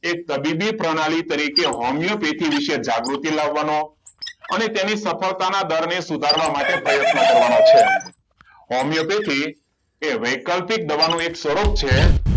એક તબીબી પ્રણાલી તરીકે હોમિયોપેથિક વિશે જાગૃતિ લાવવાનો અને તેની સફળતાના દળને સુધારવાનો પ્રયત્ન કરવાનો છે હોમિયોપેથી એ વૈકલ્પિક દવાનો એક સ્વરૂપ છે